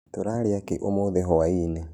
Tũrarĩa kĩ ũmũthĩ hwa-inĩ